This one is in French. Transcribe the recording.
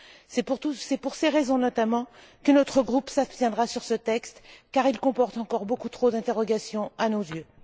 C'est pour ces raisons notamment que notre groupe s'abstiendra sur ce texte, car il comporte encore beaucoup trop d'interrogations à nos yeux.